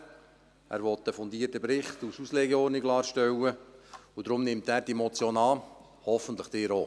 Er will einen fundierten Bericht als Auslegeordnung erstellen lassen, und deshalb nimmt er diese Motion an, Sie hoffentlich auch.